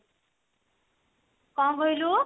କଣ କହିଲୁ